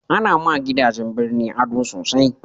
a na ma gidajen birni ado sosai